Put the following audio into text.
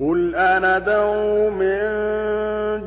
قُلْ أَنَدْعُو مِن